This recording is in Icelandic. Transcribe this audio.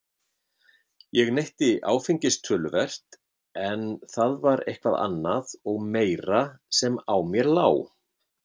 Ég neytti áfengis töluvert en það var eitthvað annað og meira sem á mér lá.